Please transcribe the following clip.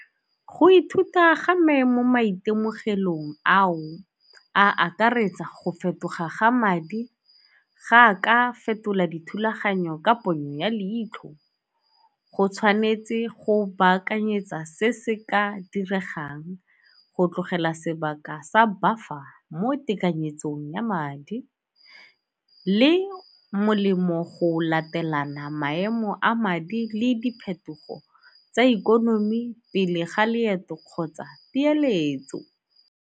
Go ithuta ga me mo maitemogelong ao a akaretsa go fetoga ga madi. Ga a ka fetola dithulaganyo ka ponyo ya leitlho go tshwanetse go baakanyetsa se se ka diregang go tlogela sebaka sa mo tekanyetsong ya madi le molemo go latelana maemo a madi le diphetogo tsa ikonomi pele ga leeto kgotsa peeletso.